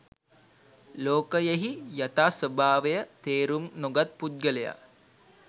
ලෝකයෙහි යථා ස්වභාවය තේරුම් නොගත් පුද්ගලයා